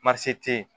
te yen